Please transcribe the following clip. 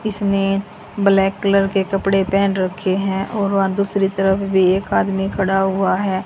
इसने black colour के कपड़े पहन रखे हैं और वहा दूसरी तरफ भी एक आदमी खड़ा हुआ है।